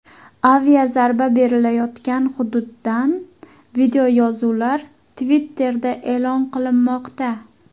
Aviazarba berilayotgan hududdan videoyozuvlar Twitter’da e’lon qilinmoqda.